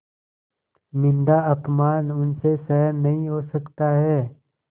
निन्दाअपमान उनसे सहन नहीं हो सकता है